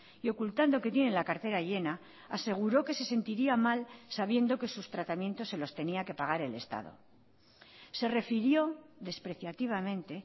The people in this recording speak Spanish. y ocultando que tienen la cartera llena aseguró que se sentiría mal sabiendo que sus tratamientos se los tenía que pagar el estado se refirió despreciativamente